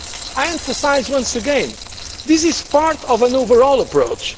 moves. I emphasise once again that this is part of an overall approach.